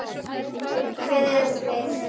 Hver erum við?